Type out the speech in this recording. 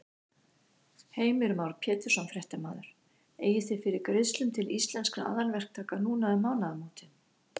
Heimir Már Pétursson, fréttamaður: Eigið þið fyrir greiðslum til Íslenskra aðalverktaka núna um mánaðamótin?